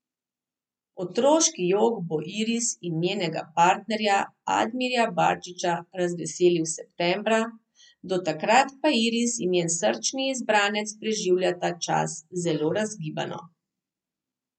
Otroški jok bo Iris in njenega partnerja Admirja Barčića razveselil septembra, do takrat pa Iris in njen srčni izbranec preživljata čas zelo razgibano.